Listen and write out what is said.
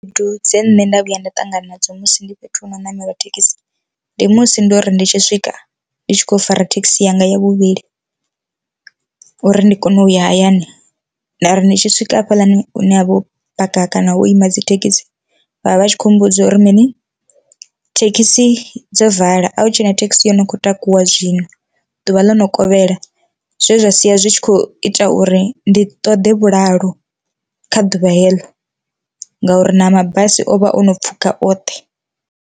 Khaedu dzine nṋe nda vhuya nda ṱangana nadzo musi ndi fhethu hune namela thekhisi, ndi musi ndo ri ndi tshi swika ndi tshi khou fara thekhisi yanga ya vhuvhili uri ndi kone u ya hayani ndari ndi tshi swika hafhaḽani hune ha vha ho u paka kana wo ima dzithekhisi vhavha vhatshi kho mmbudza uri mini thekhisi dzo vala, a hu tshena thekhisi yono kho takuwa zwino, ḓuvha ḽo no kovhela zwe zwa sia zwi tshi kho ita uri ndi ṱoḓe vhulalo kha ḓuvha heḽo ngauri na mabasi ovha o no pfhuka oṱhe.